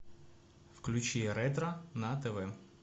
включи ретро на тв